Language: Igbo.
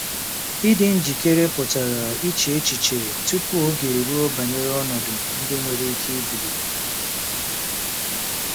Ịdị njikere pụtara iche echiche tupu oge eruo banyere ọnọdụ ndị nwere ike ibilite.